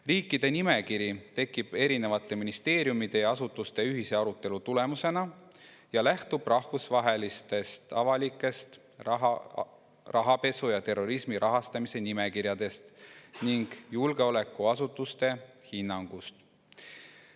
Riikide nimekiri tekib eri ministeeriumide ja asutuste ühise arutelu tulemusena ja lähtub rahvusvahelistest avalikest rahapesu ja terrorismi rahastamise nimekirjadest ning julgeolekuasutuste hinnangust.